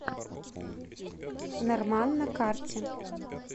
норман на карте